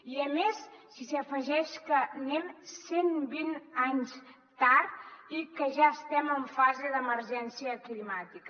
i més si s’hi afegeix que anem cent vint anys tard i que ja estem en fase d’emergència climàtica